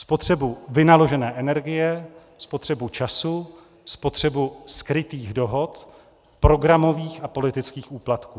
Spotřebu vynaložené energie, spotřebu času, spotřebu skrytých dohod, programových a politických úplatků.